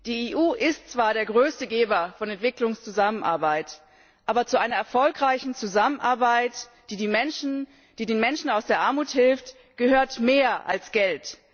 Die EU ist zwar der größte Geber von Entwicklungszusammenarbeit, aber zu einer erfolgreichen Zusammenarbeit, die den Menschen aus der Armut hilft, gehört mehr als Geld.